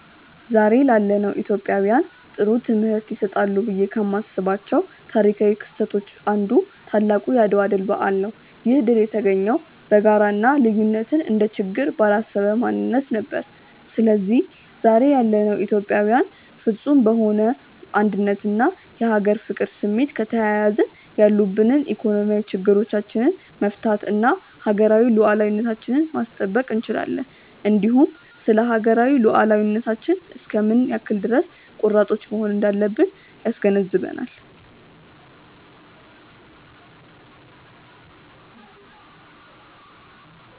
ዛሬ ላለነው ኢትዮጵያውያን ጥሩ ትምህርት ይሰጣሉ ብዬ ከማስባቸው ታሪካው ክስተቶች አንዱ ታላቁ የአድዋ ድል በዓል ነው። ይህ ድል የተገኘው በጋራ እና ልዩነትን እንደ ችግር ባላሰበ ማንነት ነበር። ስለዚህ ዛሬ ያለነው ኢትዮጵያዊያንም ፍፁም በሆነ አንድነት እና የሀገር ፍቅር ስሜት ከተያያዝን ያሉብንን ኢኮኖሚያዊ ችግሮቻች መፍታት እና ሀገራዊ ሉዓላዊነታችንን ማስጠበቅ እንችላለን። እንዲሁም ስለሀገራዊ ሉዓላዊነታችን እስከ ምን ያክል ድረስ ቆራጦች መሆን እንዳለብን ያስገነዝበናል።